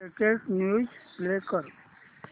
latest news play कर